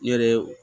Ne yɛrɛ ye